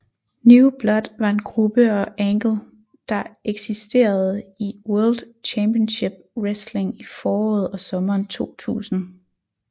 New Blood var en gruppe og angle der eksisterede i World Championship Wrestling i foråret og sommeren 2000